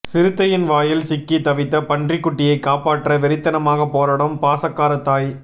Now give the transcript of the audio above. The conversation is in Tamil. சிறுத்தையின் வாயில் சிக்கி தவித்த பன்றி குட்டியை காப்பாற்ற வெறித்தனமாக போராடும் பாசக்கார தாய்